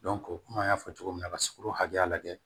kɔmi an y'a fɔ cogo min na ka sukoro hakɛya lajɛ